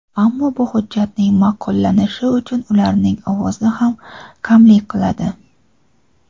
ammo bu hujjatning ma’qullanishi uchun ularning ovozi ham kamlik qiladi.